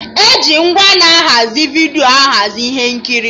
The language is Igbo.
E ji ngwa na-ahazi vidiyo ahazi ihe nkiri